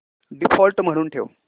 default म्हणून ठेव